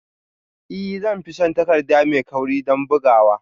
Ee zan fi son takarda mai kauri don bugawa